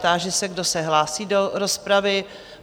Táži se, kdo se hlásí do rozpravy?